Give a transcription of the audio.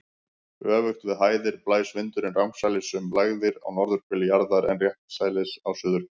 Öfugt við hæðir blæs vindurinn rangsælis um lægðir á norðurhveli jarðar en réttsælis á suðurhveli.